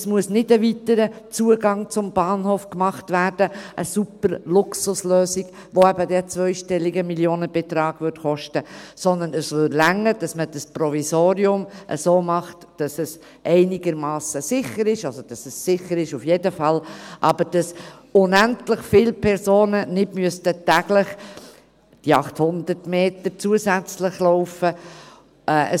Es muss nicht ein weiterer Zugang zum Bahnhof gemacht werden, eine Superluxuslösung, die dann eben einen zweistelligen Millionenbetrag kosten würde, sondern es würde reichen, dass man das Provisorium so macht, dass es einigermassen sicher ist, respektive dass es auf jeden Fall sicher ist – aber so, dass nicht unendlich viele Personen täglich die 800 Meter zusätzlich laufen müssen.